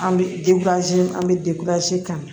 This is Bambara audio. An bɛ an bɛ kan